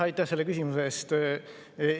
Aitäh selle küsimuse eest!